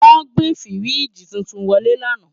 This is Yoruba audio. Wọ́n gbé fíríjì titun wọlé lánàá